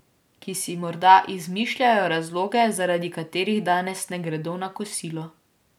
Ki si morda izmišljajo razloge, zaradi katerih danes ne gredo na kosilo.